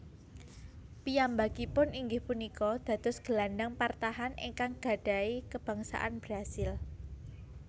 Piyambakipun inggih punika dados gelandang partahan ingkang gadhahi kabangsaan Brasil